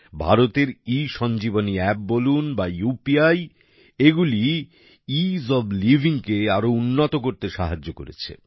ভারতের e Sanjeevani app বলুন বা উপি এগুলি ইস ওএফ লাইভিং কে আরো উন্নত করতে সাহায্য করেছে